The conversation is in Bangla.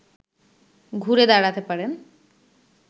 ঘুরে দাঁড়াতে পারেন